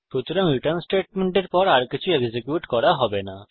সুতরাং রিটার্ন স্টেটমেন্টের পর আর কিছু এক্সিকিউট করা হবে না